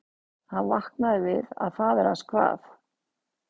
Hann vaknaði við að faðir hans kvað